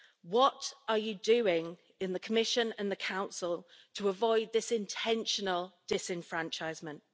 What are you doing in the Commission and the Council to avoid this intentional disenfranchisement?